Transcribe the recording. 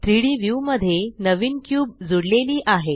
3डी व्यू मध्ये नवीन क्यूब जुडलेली आहे